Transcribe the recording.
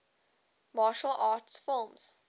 martial arts films